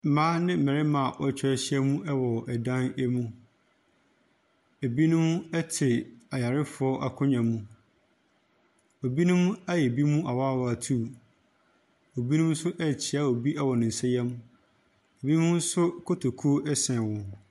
Mmaa ne mmarima a wɔatwa ahyiam wɔ dan mu. Ebinom te ayarefoɔ akonnwa mu. Ebinom ayɛ binom awaawaa atuu. Ebinom nso rekyea obi wɔ ne nsayam ebinom nso kotokuo sɛne wɔn.